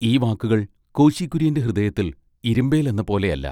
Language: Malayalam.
ഈ വാക്കുകൾ കോശി കുര്യന്റെ ഹൃദയത്തിൽ ഇരിമ്പേൽ എന്നപോലെ അല്ല.